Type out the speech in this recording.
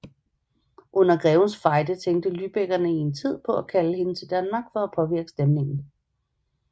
Under Grevens Fejde tænkte lybeckerne en tid på at kalde hende til Danmark for at påvirke stemningen